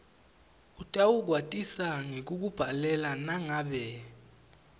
utawukwatisa ngekukubhalela nangabe